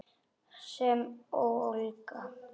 Sem ólga.